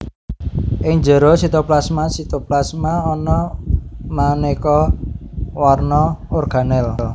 Ing njero sitoplasmaSitoplasma ana manéka warna organel